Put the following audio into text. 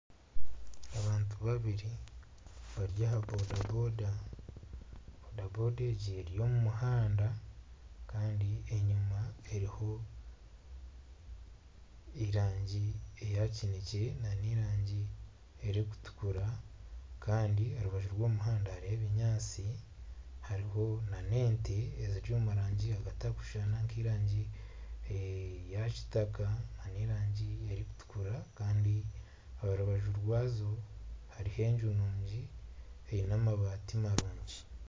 Abantu babiri bari aha boda boda. Boda boda egi eri omu muhanda kandi enyima eriho erangi eya kinekye n'erangi erikutukura kandi aha rubaju rw'omuhanda hariho ebinyaatsi, hariho n'ente eziri omurangi etakushushana nk'erangi ya kitaka, n'erangi erikutukura kandi aha rubaju rwazo hariho enju nungi eine amabaati marungi.